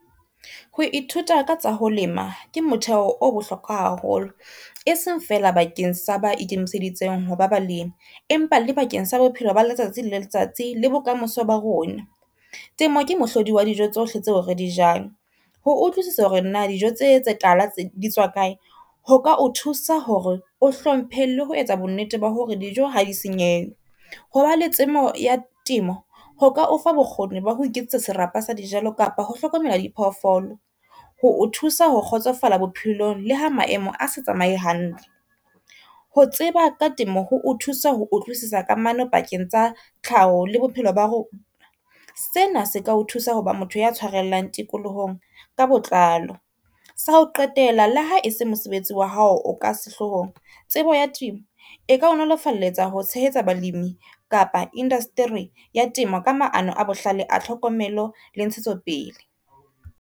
Ho ithuta ka tsa ho lema ke motheo o bohlokwa haholo, e seng feela bakeng sa ba ikemiseditseng ho ba balimi, empa le bakeng sa bophelo ba letsatsi le letsatsi le bokamoso ba rona. Temo ke mohlodi wa dijo tsohle tseo re di jang, ho utlwisisa hore na dijo tse tse tala tse di tswa kae. Ho ka o thusa hore o hlomphe le ho etsa bonnete ba hore dijo ha di senyehe. Hoba le tsebo ya temo ho ka o fa bokgoni ba ho iketsetsa serapa sa di jalo kapa ho hlokomela di phoofolo, ho o thusa ho kgotsofala bophelong le ha maemo a sa tsamaye hantle. Ho tseba ka temo ho o thusa ho utlwisisa kamano pakeng tsa tlhaho le bophelo ba rona. Sena se ka o thusa ho ba motho ya tshwarellang tikolohong ka botlalo, sa ho qetela le ha e se mosebetsi wa hao o ka sehloohong tsebo ya temo e ka o nolofaletsa ho tshehetsa balimi kapa indaseteri ya temo ka maano a bohlale a tlhokomelo le ntshetso pele.